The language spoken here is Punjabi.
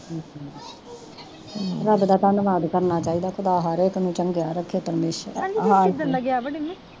ਹੂੰ ਰੱਬ ਦਾ ਧੰਨਵਾਦ ਕਰਨਾ ਚਾਹੀਦਾ ਤਾਂ ਹਰੇਕ ਨੂੰ ਚੰਗਿਆ ਰੱਖੇ ਪਰਮੇਸ਼ਰ,